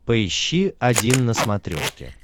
поищи один на смотрешке